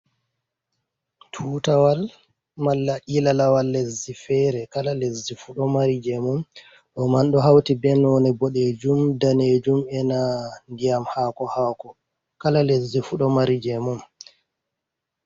Tutawal malla ilala wal leddi fere, kala lesdi fu ɗo mari jeemun, ɗo man ɗo hawri be none boɗejum, danejum, ena ndiyam hako hako, kala lasdi fu ɗo mari je mun.